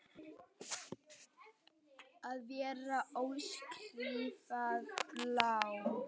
Að vera óskrifað blað